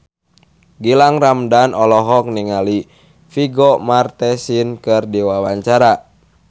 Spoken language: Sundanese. Gilang Ramadan olohok ningali Vigo Mortensen keur diwawancara